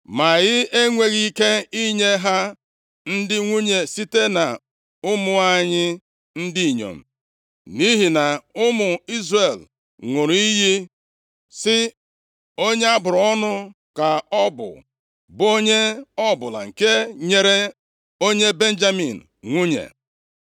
Ma anyị enweghị ike inye ha ndị nwunye site nʼụmụ anyị ndị inyom, nʼihi na ụmụ Izrel ṅụrụ iyi sị, ‘Onye abụrụ ọnụ ka ọ bụ, bụ onye ọbụla nke nyere onye Benjamin nwunye.’